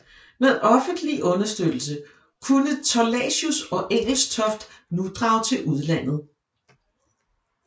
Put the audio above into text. Med offentlig understøttelse kunne Thorlacius og Engelstoft nu drage til udlandet